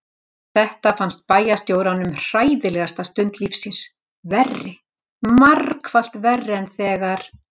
Þetta fannst bæjarstjóranum hræðilegasta stund lífs síns, verri, margfalt verri en þegar